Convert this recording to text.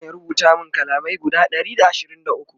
Ina San ya rubuta min kalamai guda Ɗari da ashirin da ukwu